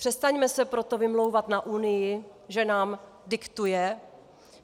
Přestaňme se proto vymlouvat na Unii, že nám diktuje.